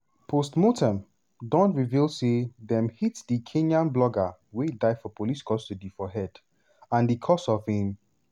post-mortem don reveal say dem hit di kenyan blogger wey die for police custody for head and di cause of im